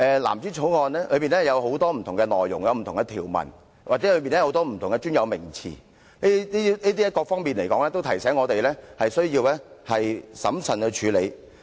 藍紙條例草案中有很多不同的內容和條文，其中又有很多不同的專有名詞，這各方面都提醒我們需要審慎處理。